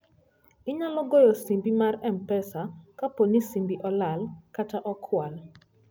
Inyalo goyo simbi mar M-Pesa kapo ni simbi olal kata okwal.